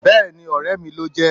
bẹẹni, ore mí lojé